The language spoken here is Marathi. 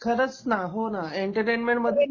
खरंच ना, हो ना एंटरटेनमेंटमध्ये